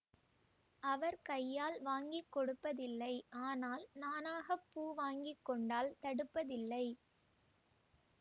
அவர் கையால் வாங்கி கொடுப்பதில்லை ஆனால் நானாகப் பூ வாங்கி கொண்டால் தடுப்பதில்லை